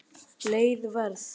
Leið Verð